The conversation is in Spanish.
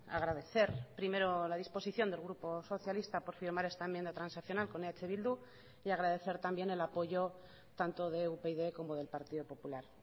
agradecer primero la disposición del grupo socialista por firmar esta enmienda transaccional con eh bildu y agradecer también el apoyo tanto de upyd como del partido popular